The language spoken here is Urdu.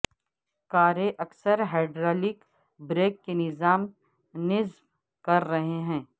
کاریں اکثر ہائیڈرالک بریک کے نظام نصب کر رہے ہیں